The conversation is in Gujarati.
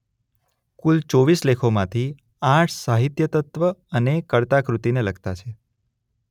કુલ ચોવીસ લેખોમાંથી આઠ સાહિત્યતત્વને તથા કર્તા-કૃતિને લગતા છે